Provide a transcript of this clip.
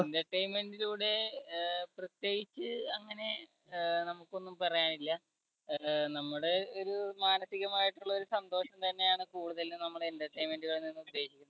entertainment ലൂടെ ആഹ് പ്രത്യേകിച്ച് അങ്ങനെ ആഹ് നമുക്കൊന്നും പറയാനില്ല അഹ് നമ്മുടെ ഒരു മാനസികമായിട്ടുള്ള ഒരു സന്തോഷം തന്നെയാണ് കൂടുതലും നമ്മള് entertainment കളിൽ നിന്നും പ്രതീക്ഷിക്കുന്ന